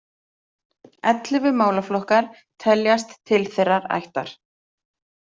Ellefu málaflokkar teljast til þeirrar ættar.